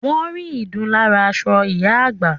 Wọ́n rí ìdun lára aṣọ ìyá àgbà